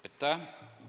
Aitäh!